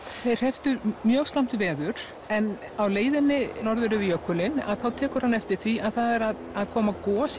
þeir hrepptu mjög slæmt veður en á leiðinni norður yfir jökulinn þá tekur hann eftir því að það er að koma gos